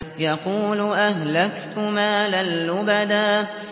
يَقُولُ أَهْلَكْتُ مَالًا لُّبَدًا